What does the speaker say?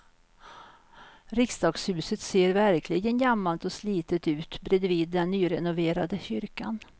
Riksdagshuset ser verkligen gammalt och slitet ut bredvid den nyrenoverade kyrkan.